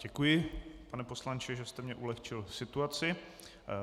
Děkuji, pane poslanče, že jste mi ulehčil situaci.